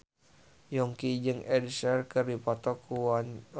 Yongki jeung Ed Sheeran keur dipoto ku wartawan